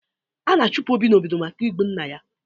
A na-achụpụ Obi n'obodo maka igbu nna ya.